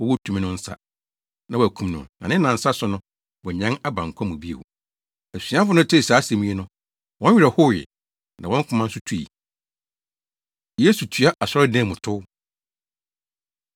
wɔwɔ tumi no nsa, na wɔakum no na ne nnansa so no, wanyan aba nkwa mu bio.” Asuafo no tee saa asɛm yi no, wɔn werɛ howee, na wɔn koma nso tui. Yesu Tua Asɔredan Mu Tow